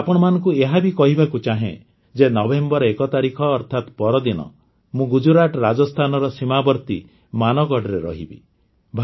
ମୁଁ ଆପଣମାନଙ୍କୁ ଏହା ବି କହିବାକୁ ଚାହେଁ ଯେ ନଭେମ୍ବର ଏକ ତାରିଖ ଅର୍ଥାତ୍ ପରଦିନ ମୁଁ ଗୁଜୁରାଟ ରାଜସ୍ତାନର ସୀମାବର୍ତ୍ତୀ ମାନଗଡ଼ରେ ରହିବି